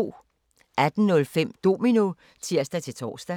18:05: Domino (tir-tor)